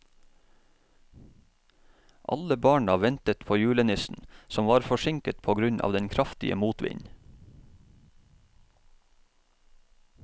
Alle barna ventet på julenissen, som var forsinket på grunn av den kraftige motvinden.